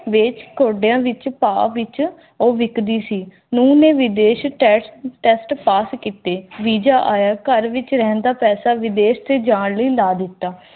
ਮੇਰੇ ਘੋੜਿਆਂ ਵਿਚ ਭਾਵ ਵਿੱਚ ਉਹ ਵਿਕਦੀ ਸੀ ਉਹ ਵਿਦੇਸ਼ test pass ਕੀਤੇ visa ਆਇਆ ਘਰ ਵਿੱਚ ਰਹਿੰਦਾ